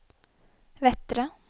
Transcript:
Vettre